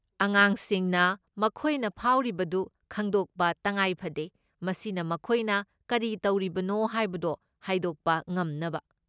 ꯑꯉꯥꯡꯁꯤꯡꯅ ꯃꯈꯣꯏꯅ ꯐꯥꯎꯔꯤꯕꯗꯨ ꯈꯪꯗꯣꯛꯄ ꯇꯈꯥꯏꯐꯗꯦ ꯃꯁꯤꯅ ꯃꯈꯣꯏꯅ ꯀꯔꯤ ꯇꯧꯔꯤꯕꯅꯣ ꯍꯥꯏꯕꯗꯣ ꯍꯥꯏꯗꯣꯛꯄ ꯉꯝꯅꯕ꯫